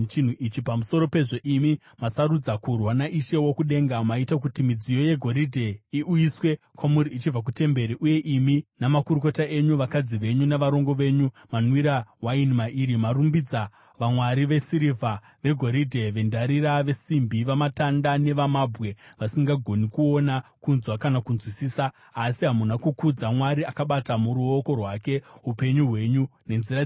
Pamusoro pezvo imi masarudza kurwa naIshe wokudenga. Maita kuti midziyo yegoridhe iuyiswe kwamuri ichibva kutemberi, uye imi namakurukota enyu, vakadzi venyu navarongo venyu manwira waini mairi. Marumbidza vamwari vesirivha, vegoridhe, vendarira, vesimbi, vamatanda nevamabwe, vasingagoni kuona, kunzwa kana kunzwisisa. Asi hamuna kukudza Mwari akabata muruoko rwake upenyu hwenyu nenzira dzenyu dzose.